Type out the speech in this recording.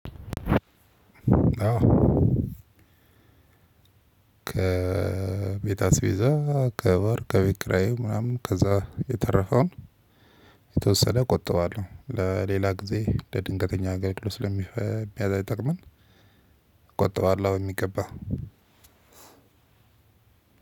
ከቤት አስቤዛ ከወር ከቤት ኪረይ ምናምን ከዛ የተረፈውን የተወሰነ እቆጥባለሁ ለሌላ ጊዜ ለድንገተኛ አገልግሎት ስለሚጠቅመኝ። እቆጥበዋለሁ በሚገባ።